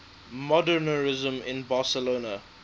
modernisme in barcelona